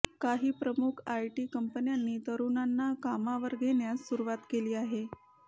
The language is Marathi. काही प्रमुख आयटी कंपन्यांनी तरुणांना कामावर घेण्यास सुरवात केली आहे